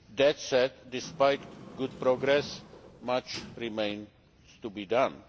That said, despite good progress, much remains to be done.